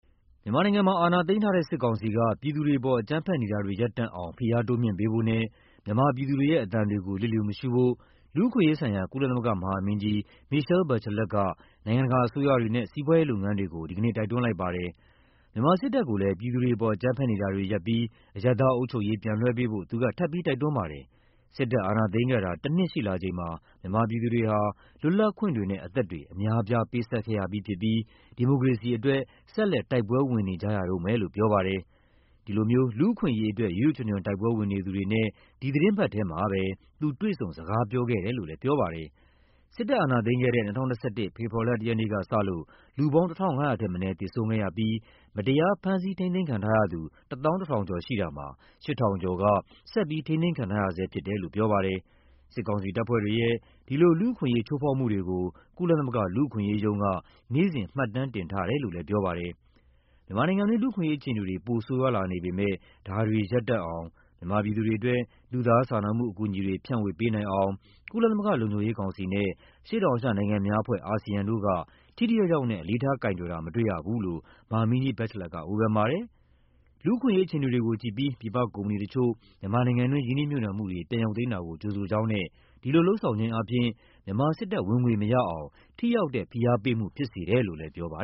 မြန်မာနိုင်ငံမှာ အာဏာသိမ်းထားတဲ့ စစ်ကောင်စီက ပြည်သူတွေအပေါ် အကြမ်းဖက်နေတာတွေ ရပ်တန့်အောင် ဖိအား တိုးမြှင့်ပေးဖို့နဲ့ မြန်မာပြည်သူတွေရဲ့ အသံတွေကို လျစ်လျူမရှုဖို့ လူ့အခွင့်အရေးဆိုင်ရာ ကုလသမဂ္ဂမဟာမင်းကြီး Michelle Bachelet က နိုင်ငံတကာအစိုးရတွေနဲ့ စီးပွားရေးလုပ်ငန်းတွေကို ဒီကနေ့ တိုက်တွန်းလိုက်ပါတယ်။ မြန်မာစစ်တပ်ကိုလည်း ပြည်သူတွေအပေါ် အကြမ်းဖက်နေတာတွေရပ်ပြီး အရပ်သားအုပ်ချုပ်ရေး ပြန်လွှဲပေးဖို့ သူက ထပ်မံ တိုက်တွန်းပါတယ်။ စစ်တပ် အာဏာသိမ်းခဲ့တာ တနှစ်ရှိလာချိန်မှာ မြန်မာပြည်သူတွေဟာ လွတ်လပ်ခွင့်တွေနဲ့ အသက်တွေ အများအပြား ပေးဆပ်ခဲ့ရပြီးဖြစ်ပြီး ဒီမိုကရေစီအတွက် ဆက်လက် တိုက်ပွဲဝင်နေကြရတုန်းပဲလို့ ပြောပါတယ်။ ဒီလို လူ့အခွင့် အရေးအတွက် ရွတ်ရွတ်ချွံချွံ တိုက်ပွဲဝင်နေသူတွေနဲ့ ဒီသီတင်းပတ်ထဲမှာပဲ သူ တွေ့ဆုံ စကားပြောခဲ့တယ်လို့လည်း ပြောပါတယ်။ စစ်တပ်အာဏာသိမ်းခဲ့တဲ့ ၂၀၂၁ ဖေဖော်ဝါရီလ ၁ ရက်နေ့ကစလို့ လူပေါင်း ၁,၅၀၀ ထက်မနည်း သေဆုံးခဲ့ရပြီး မတရား ဖမ်းဆီး ထိန်းသိမ်းခံရသူ ၁၁,၀၀၀ ကျော်ရှိတာမှာ ၈,၀၀၀ ကျော်က ဆက်လက် ထိန်းသိမ်းခံထားရဆဲဖြစ်တယ်လို့ ပြောပါတယ်။ စစ်ကောင်စီတပ်ဖွဲ့တွေရဲ့ ဒီလို လူ့အခွင့်အရေး ချိုဖောက်မှုတွေကို ကုလသမဂ္ဂ လူ့အခွင့်အရေးရုံးက နေ့စဉ် မှတ်တမ်းတင်ထား တယ်လို့လည်း ပြောပါတယ်။ မြန်မာနိုင်ငံတွင်း လူ့အခွင့်အရေးအခြေအနေတွေ ပိုမိုဆိုးရွားလာနေပေမဲ့ ဒါတွေရပ်တန့်အောင်၊ မြန်မာပြည်သူတွေအတွက် လူသားစာနာမှုအကူအညီတွေ ဖြန့်ဝေပေးနိုင်အောင် ကုလသမဂ္ဂလုံခြုံရေးကောင်စီနဲ့ အရှေ့ တောင်အာရှနိုင်ငံများအဖွဲ့ (ASEAN) တို့က ထိထိရောက်ရောက်နဲ့ အလေးထားကိုင်တွယ်တာ မတွေ့ရဘူးလို့ မဟာမင်းကြီး Bachelet က ဝေဖန်ပါတယ်။ လူ့အခွင့်အရေးအခြေအနေတွေကိုကြည့်ပြီး ပြည်ပကုမ္ပဏီတချို့ မြန်မာနိုင်ငံတွင်း ရင်းနှီးမြှုပ်နှံမှု တွေ ပြန်ရုပ်သိမ်းတာကို ကြိုဆိုကြောင်းနဲ့ ဒီလိုလုပ်ဆောင်ခြင်းအားဖြင့် မြန်မာစစ်တပ် ဝင်ငွေမရအောင် ထိရောက်တဲ့ ဖိအား ပေးမှုဖြစ်စေတယ်လို့ ပြောပါ